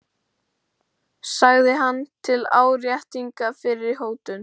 sagði hann til áréttingar fyrri hótun.